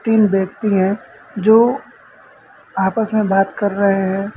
तीन व्यक्ति हैं जो आपस में बात कर रहे हैं।